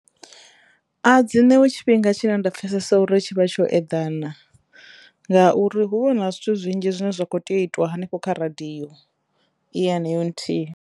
A dzi ṋewi tshifhinga tshine nda pfesesa uri tshi vha tsho eḓana ngauri huvha hu na zwithu zwinzhi zwine zwa kho teyo u itwa hanefho kha radiyo i heneyo nthihi